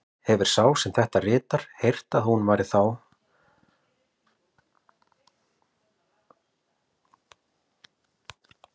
Hefir sá, er þetta ritar, heyrt, að hún væri eftir þá nafna